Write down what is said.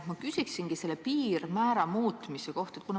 Ma küsiksingi selle piirmäära muutmise kohta.